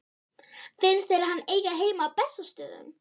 Finnst þér hann eiga heima á Bessastöðum?